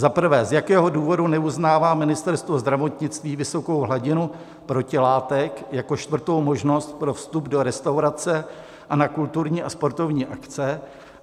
Za prvé, z jakého důvodu neuznává Ministerstvo zdravotnictví vysokou hladinu protilátek jako čtvrtou možnost pro vstup do restaurace a na kulturní a sportovní akce?